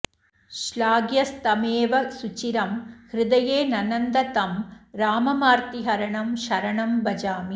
श्लाघ्यस्तमेव सुचिरं हृदये ननन्द तं राममार्तिहरणं शरणं भजामि